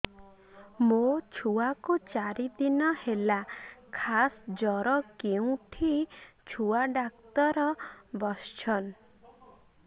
ମୋ ଛୁଆ କୁ ଚାରି ଦିନ ହେଲା ଖାସ ଜର କେଉଁଠି ଛୁଆ ଡାକ୍ତର ଵସ୍ଛନ୍